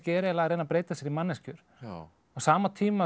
eiginlega að reyna að breyta sér í manneskjur á sama tíma